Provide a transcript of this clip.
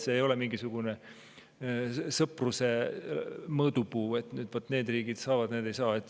See ei ole mingisugune sõpruse mõõdupuu, et need riigid, need ei ole.